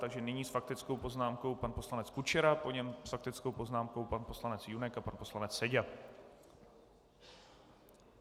Takže nyní s faktickou poznámkou pan poslanec Kučera, po něm s faktickou poznámkou pan poslanec Junek a pan poslanec Seďa.